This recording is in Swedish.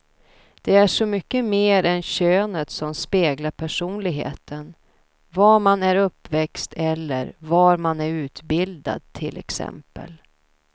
Det är så mycket mer än könet som speglar personligheten, var man är uppväxt eller var man är utbildad till exempel.